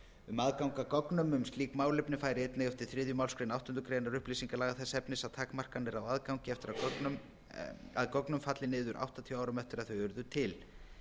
um aðgang að gögnum um slík málefni færi einnig eftir þriðju málsgrein áttundu greinar upplýsingalaga þess efnis að takmarkanir á aðgangi að gögnum falli niður áttatíu árum eftir að þau urðu til